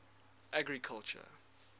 agriculture